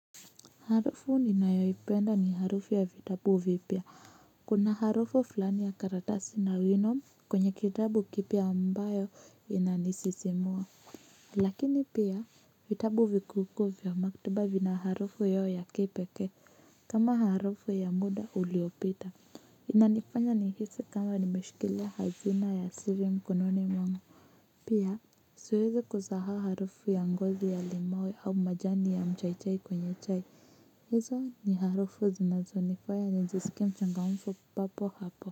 Harufu ninayoipenda ni harufu ya vitabu vipya kuna harufu fulani ya karatasi na wino kwenye kitabu kipya ambayo inanisisimua lakini pia vitabu vikukuu vya maktaba vina harufu hio ya kipekee kama harufu ya muda uliopita inanifanya nihisi kama nimeshikilia hazina ya siri mkononi mwangu pia siwezi kusahau harufu ya ngozi ya limau au majani ya mchaichai kwenye chai hizo ni harufu zinazonifanya nijisikie mchangamfu papo hapo.